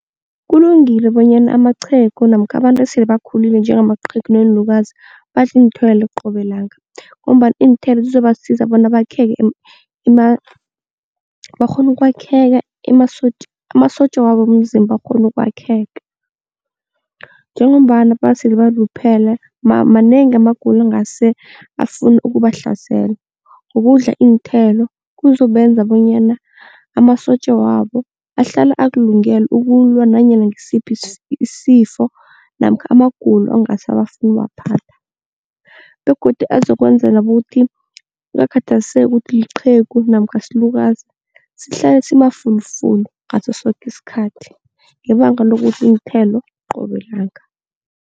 Kulungile bonyana amaqhegu namkha abantu esele bakhulile njengamaqhegu neenlukazi badle iinthelo qobe langa ngombana iinthelo zizobasiza bona bakheke, bakghone ukwakheka amasotja wabo womzimba akghone ukwakheka. Njengombana basele baluphele manengi amagulo angase afune ukubahlasela, ukudla iinthelo kuzobenza bonyana amasotja wabo ahlale akulungele ukulwa nanyana ngisiphi isifo namkha amagulo okungase afune ukubaphatha begodu azokwenzela ukuthi kungakhathaliseki ukuthi uliqhegu namkha usilukazi sihlale simafulufulu ngaso soke isikhathi ngebanga lokudli iinthelo qobe langa.